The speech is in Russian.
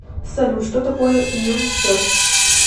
салют что такое мюнстер